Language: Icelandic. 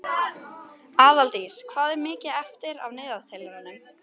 Aðaldís, hvað er mikið eftir af niðurteljaranum?